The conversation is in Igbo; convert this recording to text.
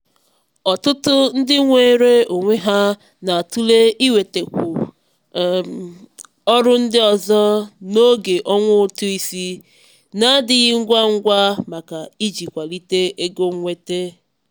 "ọtụtụ ndị nweere onwe ha na-atụle iwetekwu um ọrụ ndị ọzọ n'oge ọnwa ụtụ isi na-adịghị ngwa ngwa maka iji kwalite ego mwete."